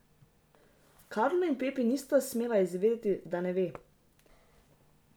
Karlo in Pepi nista smela izvedeti, da ne ve.